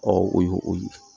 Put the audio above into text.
o ye o ye